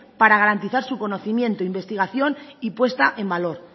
para garantizar su conocimiento su investigación y puesta en valor